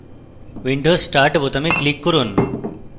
windows start বোতামে click করুন